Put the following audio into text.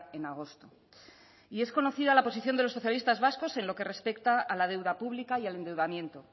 en agosto y es conocida la posición de los socialistas vascos en lo que respecta a la deuda pública y al endeudamiento